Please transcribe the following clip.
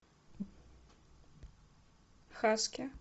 хаски